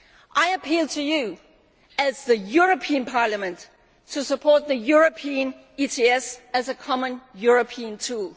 I appeal to you, as the European Parliament, to support the European ETS as a common European tool.